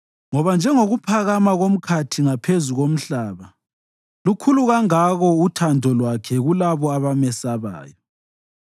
Ngoba njengokuphakama komkhathi ngaphezu komhlaba, lukhulu kangako uthando lwakhe kulabo abamesabayo;